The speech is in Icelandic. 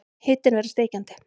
Hitinn verður steikjandi.